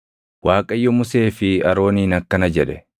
Waaqayyo Musee fi Arooniin akkana jedhe: